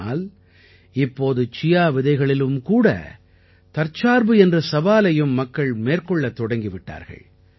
ஆனால் இப்போது சியா விதைகளிலும் கூட தற்சார்பு என்ற சவாலையும் மக்கள் மேற்கொள்ளத் தொடங்கி விட்டார்கள்